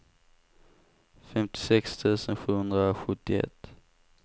femtiosex tusen sjuhundrasjuttioett